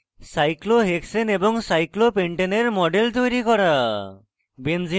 cyclohexane এবং সাইক্লোহপেন্টেনের model তৈরী করা